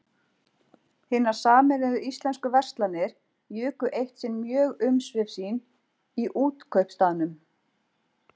Hinar sameinuðu íslensku verslanir juku eitt sinn mjög umsvif sín í Útkaupstaðnum.